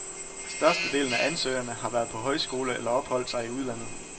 Størstedelen af ansøgerne har været på højskole eller opholdt sig i udlandet.